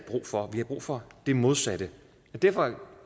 brug for vi har brug for det modsatte derfor